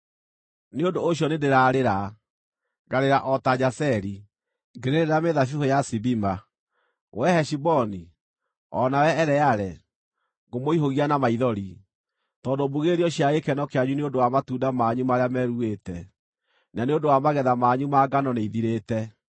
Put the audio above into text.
Nĩ ũndũ ũcio nĩndĩrarĩra, ngarĩra o ta Jazeri, ngĩrĩrĩra mĩthabibũ ya Sibima. Wee Heshiboni, o nawe Eleale, ngũmũihũgia na maithori! Tondũ mbugĩrĩrio cia gĩkeno kĩanyu nĩ ũndũ wa matunda manyu marĩa meruĩte, na nĩ ũndũ wa magetha manyu ma ngano nĩithirĩte.